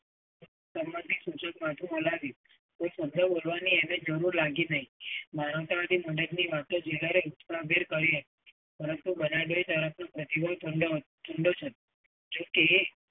સંબંધી સૂચક માથું હલાવ્યું. કોઈ સુધારો કરવાની એમને જરુંર લાગી નહીં.